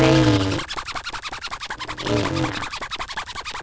vegina?